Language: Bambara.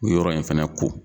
Yɔrɔ in fɛnɛ ko